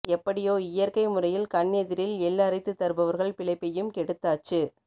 எப்படியோ இயற்கை முறையில் கண் எதிரில் எள் அரைத்து தருபவர்கள் பிழைப்பையும் கெடுத்தாச்சு